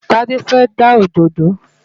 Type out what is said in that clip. Tádé fẹ́ já òdòdó